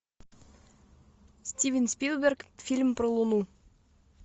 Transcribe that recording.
стивен спилберг фильм про луну